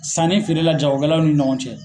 Sanni feerela jagokɛlaw ni ɲɔgɔn cɛ.